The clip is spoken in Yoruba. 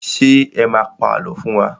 Ṣé ẹ má a pa àlọ́ fún wa?